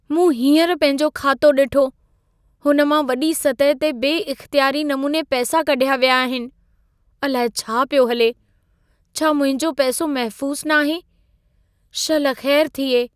मूं हींअर पंहिंजो खातो ॾिठो, हुन मां वॾी सतह ते बे इख़्तियारी नमूने पैसा कढ़िया विया आहिनि। अलाए छा पियो हले। छा मुंहिंजो पैसो महफ़ूस न आहे? शल ख़ैरु थिए।